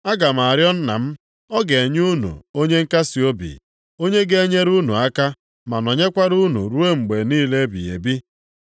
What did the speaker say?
Aga m arịọ Nna m, ọ ga-enye unu Onye Nkasiobi ọzọ, + 14:16 Maọbụ, Onye Inyeaka onye ga-enyere unu aka ma nọnyekwara unu ruo mgbe niile ebighị ebi.